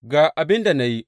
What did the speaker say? Ga abin da na yi.